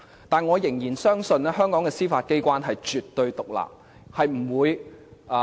但是，我仍然相信香港的司法機關是絕對獨立的。